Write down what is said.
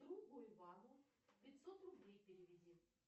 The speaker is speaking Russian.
другу ивану пятьсот рублей переведи